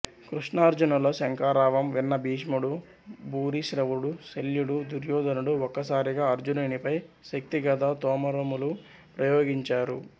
కృష్ణార్జునుల శంఖారావం విన్న భీష్ముడు భూరిశ్రవుడు శల్యుడు దుర్యోధనుడు ఒక్క సారిగా అర్జునినిపై శక్తి గదా తోమరములు ప్రయోగించారు